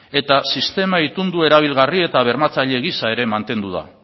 eta sistema itundu erabilgarri eta bermatzaile gisa ere mantendu da